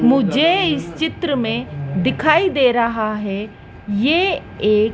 मुझे इस चित्र में दिखाई दे रहा है ये एक--